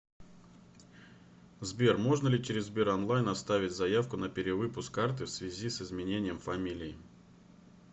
сбер можно ли через сбер онлайн оставить заявку на перевыпуск карты в связи с изменением фамилии